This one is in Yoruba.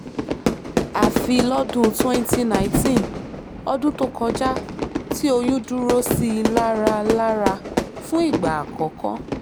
àfi lọ́dún twenty nineteen ọdún tó kọjá tí oyún dúró sí i lára lára fún ìgbà àkọ́kọ́